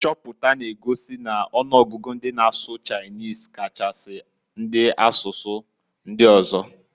Nchoputa na- egosi n'ọnụgụgụ ndị na-asụ Chinese Kachasi, ndị na-asụ asụsụ ndị ọzọ.